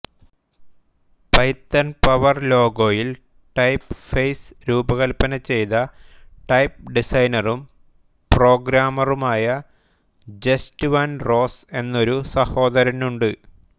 Python power ലോഗോയിൽ typeface രൂപകൽപ്പന ചെയ്ത ടൈപ്പ് ഡിസൈനറും പ്രോഗ്രാമറുമായ ജസ്റ്റ് വാൻ റോസ്സ് എന്നൊരു സഹോദരനുണ്ട്